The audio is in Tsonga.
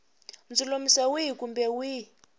ndzulamiso wihi kumbe wihi wa